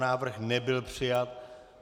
Návrh nebyl přijat.